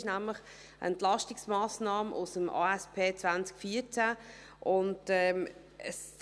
Es ist nämlich eine Entlastungsmassnahme aus der Angebots- und Strukturüberprüfung (ASP) 2014.